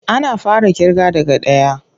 Ana fara ƙirga daga ɗaya.